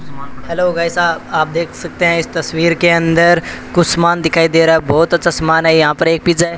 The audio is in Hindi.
हेलो भाई साहब आप देख सकते हैं इस तस्वीर के अंदर कुछ सामान दिखाई दे रहा है बहुत अच्छा सामान है यहां पर एक पिज्जा है।